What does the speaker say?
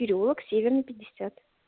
переулок северный пятьдесят